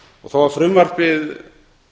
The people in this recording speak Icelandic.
þó að frumvarpið